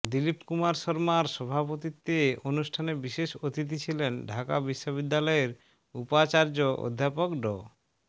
দিলীপ কুমার শর্মার সভাপতিত্বে অনুষ্ঠানে বিশেষ অতিথি ছিলেন ঢাকা বিশ্ববিদ্যালয়ের উপাচার্য অধ্যাপক ড